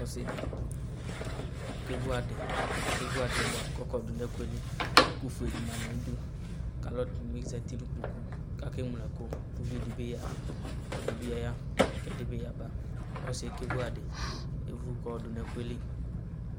Ɔsɩdɩ okevu adɩ evu adɩ yɛ bʋa kɔkɔdʋ nʋ ɛkʋ yɛ li, ɛkʋfue dɩ ma nʋ ayidu alʋ ɛdɩnɩ bɩ zati nʋ ikpoku kʋ akeŋlo ɛkʋ uvidɩ bɩ ya ɛdɩ bɩ ya kʋ ɛdɩ bɩ yaba ɔsɩ yɛ kevu adɩ evu kʋ ayɔdʋ nʋ ɛkʋ yɛ li